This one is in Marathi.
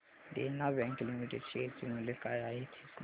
देना बँक लिमिटेड शेअर चे मूल्य काय आहे हे सांगा